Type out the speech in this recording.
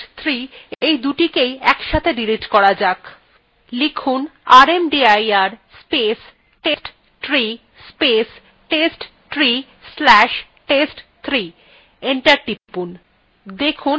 command promptএ rmdir space testtree space testtree slash test3 লিখে enter টিপুন